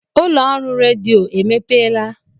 Ụlọ ọrụ redio emepeela